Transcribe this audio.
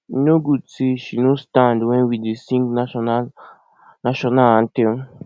e no good say she no stand wen we dey sing national national anthem